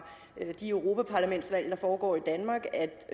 de europaparlamentsvalg der foregår i danmark at